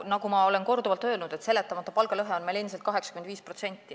Nagu ma olen korduvalt öelnud, seletamata palgalõhe on meil endiselt 85%.